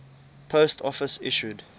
post office issued